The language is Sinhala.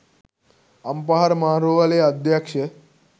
අම්පාර මහා රෝහලේ අධ්‍යක්ෂ